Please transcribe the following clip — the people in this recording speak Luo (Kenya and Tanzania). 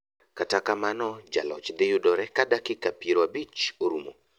Kta kamano jaloch dhi yuodre ka dakika piero ochio orumo .